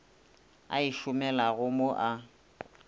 a e šomilego mo a